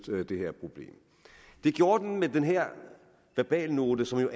det her problem det gjorde man med den her verbalnote som